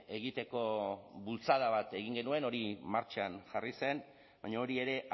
egiteko bultzada bat egin genuen hori martxan jarri zen baina hori ere